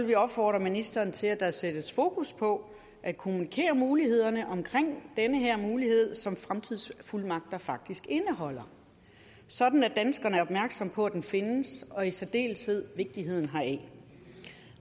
vi opfordre ministeren til at der sættes fokus på at kommunikere mulighederne omkring den her mulighed som fremtidsfuldmagter faktisk indeholder sådan at danskerne er opmærksom på at den findes og i særdeleshed vigtigheden heraf